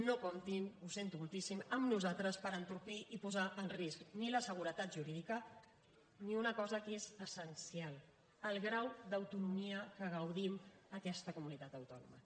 no comptin ho sento moltíssim amb nosaltres per entorpir i posar en risc ni la seguretat jurídica ni una cosa que és essencial el grau d’autonomia que gaudim en aquesta comunitat autònoma